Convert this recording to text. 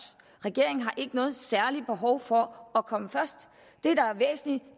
regeringen har ikke noget særligt behov for at komme først